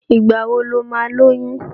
Ìgbà wo lo ma lóyún?